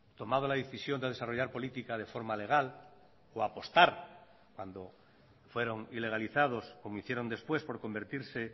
tomado la decisión de desarrollar política de forma legal o apostar cuando fueron ilegalizados como hicieron después por convertirse